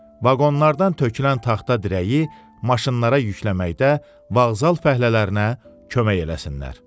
Vaqonlardan tökülən taxta dirəyi maşınlara yükləməkdə vağzal fəhlələrinə kömək eləsinlər.